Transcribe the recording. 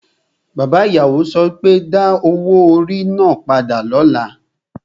Bàbá ìyàwó so pé, Da owó orí náà padà lọ́la!